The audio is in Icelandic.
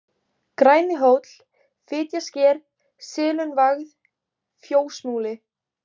Grænihóll, Fitjasker, Silungavað, Fjósmúli